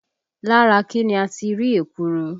Lára kí ni a ti rí ekuru?